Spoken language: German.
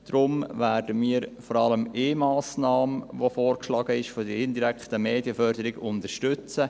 Deshalb werden wir vor allem eine vorgeschlagene Massnahme, die indirekte Medienförderung, unterstützen.